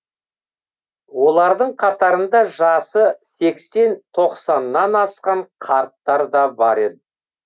олардың қатарында жасы сексен тоқсаннан асқан қарттар да бар еді